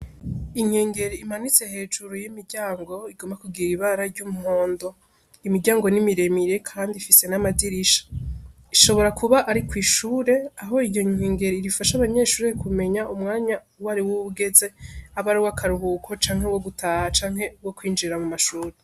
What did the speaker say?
Inkengere imanitse hejuru y'imiryango igomba kugira ibara ry'umpwondo imiryango n'imiremire, kandi ifise n'amadirisha ishobora kuba ari ko'ishure aho iryo nkingero irifasha abanyeshurire kumenya umwanya uwo ari w'uwugeze abe ari we akaruhuko canke wo gutaha canke wo kwinjira mu mashuti.